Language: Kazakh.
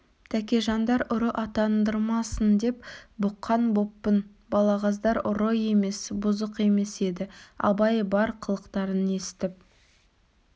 тәкежандар ұры атандырмасын деп бұққан боппын балағаздар ұры емес бұзық емес еді абай бар қылықтарын есітіп